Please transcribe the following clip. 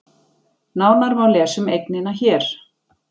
Nánar má lesa um eignina hér